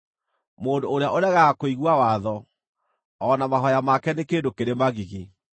Mũndũ ũrĩa ũregaga kũigua watho, o na mahooya make nĩ kĩndũ kĩrĩ magigi.